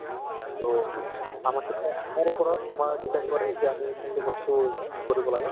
so, আমাৰ কিছুমান আমাৰ ওপৰত তোমাৰ depend কৰে যে আমি কোনটো বস্তু কৰিব লাগে